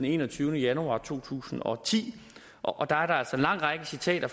enogtyvende januar to tusind og ti og der er der altså en lang række citater af